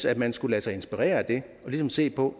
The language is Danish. at man skulle lade sig inspirere af det og ligesom se på